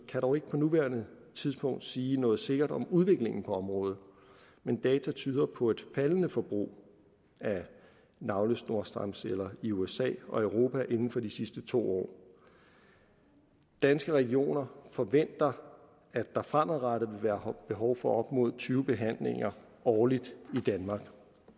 kan dog ikke på nuværende tidspunkt sige noget sikkert om udviklingen på området men data tyder på et faldende forbrug af navlesnorstamceller i usa og europa inden for de sidste to år danske regioner forventer at der fremadrettet vil være behov for op mod tyve behandlinger årligt i danmark